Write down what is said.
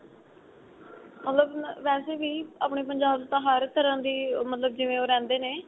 ਮਤਲਬ ਵੈਸੇ ਵੀ ਆਪਣੇ ਪੰਜਾਬ ਤਾਂ ਹਰ ਤਰ੍ਹਾਂ ਦੀ ਮਤਲਬ ਜਿਵੇਂ ਉਹ ਰਹਿੰਦੇ ਨੇ